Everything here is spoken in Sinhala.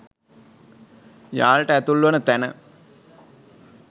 යාලට ඇතුල් වන තැන